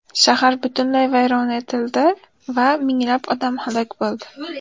Shahar butunlay vayron etildi va minglab odam halok bo‘ldi.